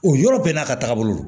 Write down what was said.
O yɔrɔ bɛɛ n'a ka taagabolo